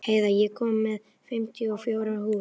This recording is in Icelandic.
Heiða, ég kom með fimmtíu og fjórar húfur!